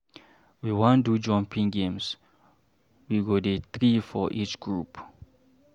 We wan do jumping games, we go dey three for each group.